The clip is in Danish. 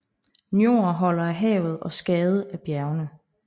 Njord holder af havet og Skade af bjergene